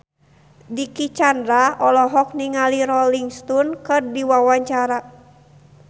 Dicky Chandra olohok ningali Rolling Stone keur diwawancara